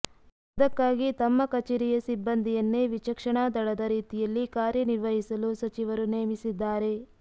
ಅದಕ್ಕಾಗಿ ತಮ್ಮ ಕಚೇರಿಯ ಸಿಬ್ಬಂದಿಯನ್ನೇ ವಿಚಕ್ಷಣಾದಳದ ರೀತಿಯಲ್ಲಿ ಕಾರ್ಯನಿರ್ವಹಿಸಲು ಸಚಿವರು ನೇಮಿಸಿದ್ದಾರೆ